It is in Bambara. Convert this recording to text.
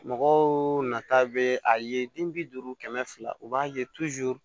Mɔgɔw nata bɛ a ye den bi duuru kɛmɛ fila u b'a ye